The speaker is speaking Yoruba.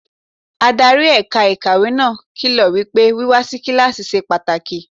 Adarí ẹ̀ka ìkàwé náà kìlọ̀ wípé wíwá si kíláàsì ṣe pàtàkì.